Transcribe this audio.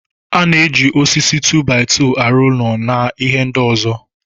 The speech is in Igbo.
A na-eji osisi 2-by-2 aro ụlọ na ihe ndị ọzọ.